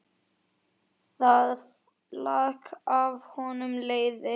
Það lak af honum leiði.